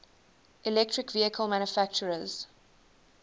electric vehicle manufacturers